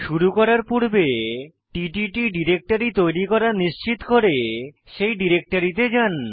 শুরু করার পূর্বে টিটিট ডিরেক্টরি তৈরী করা নিশ্চিত করে সেই ডিরেক্টরিতে যাই